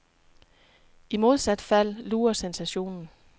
I modsat fald lurer sensationen.